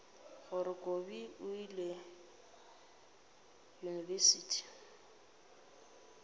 gore kobi o ile yunibesithing